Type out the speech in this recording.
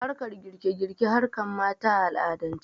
Harkan girke girke harkan mata a al'adance